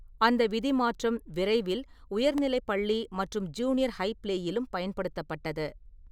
அந்த விதி மாற்றம் விரைவில் உயர்நிலைப் பள்ளி மற்றும் ஜூனியர் ஹை ப்ளேயிலும் பயன்படுத்தப்பட்டது.